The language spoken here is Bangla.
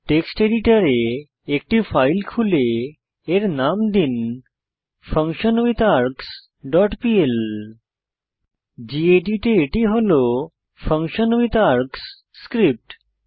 টেক্সট এডিটরে একটি ফাইল খুলে এর নাম দিন ফাংশনউইটহার্গসহ ডট পিএল গেদিত এ এটি হল ফাংশনউইটহার্গসহ স্ক্রিপ্ট